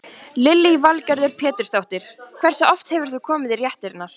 Lillý Valgerður Pétursdóttir: Hversu oft hefur þú komið í réttirnar?